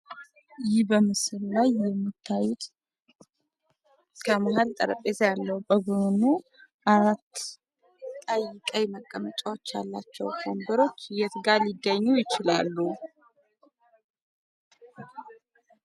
ይህ በምስሉ ላይ የምታዩት ከመሐል ጠረጴዛ ያለው በጎኑ አራት ቀይ ቀይ መቀመጫዎች ያሏቸው ወንበሮች የት ጋ ሊገኙ ይችላሉ?